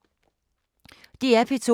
DR P2